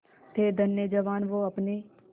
थे धन्य जवान वो आपने